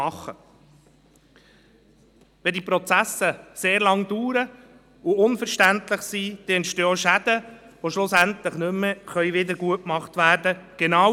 Wenn die Prozesse sehr lange dauern und unverständlich sind, entstehen auch Schäden, die schlussendlich nicht mehr wiedergutgemacht werden können.